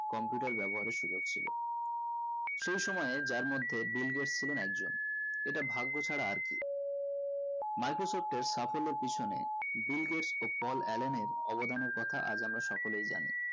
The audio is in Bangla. computer ব্যাবহারের সুযোক ছিল সেই সময়ে তার মধ্যে বিল গেটস ছিলন একজন এটা ভাগ্য ছাড়া আর কি microsoft এর সাফল্যের পিছনে বিল গেটস ও পল অ্যালেনের অবদানের কথা আজ আমরা সকলেই জানি